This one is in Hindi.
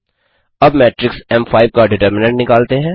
अब मेट्रिक्स एम5 का डिटरमिनंट निकालते हैं